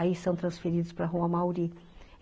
Aí são transferidos para a Rua Amauri